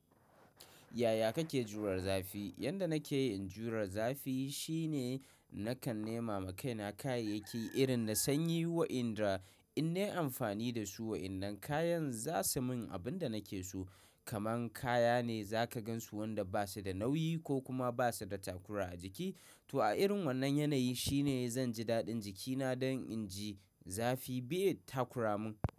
Yaya kake jure zafi? Yanda nake ye in jure zafi shine nakan nema kaina kayayyaki irin na sanyi wa inda in nayi amfani da su wa inda kayan zasu min abin da nake so. Kaman kaya ne za ka gansu wanda ba su da nauyi ko kuma ba su da takura a jiki. To a irin wannan yanayi shine zan ji dadin jikina don in ji zafi bai takura mun.